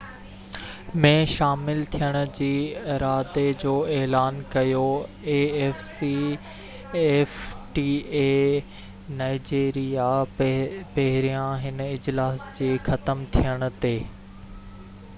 Nigeria پهريان هن اجلاس جي ختم ٿيڻ تي afcfta ۾ شامل ٿيڻ جي ارادي جو اعلان ڪيو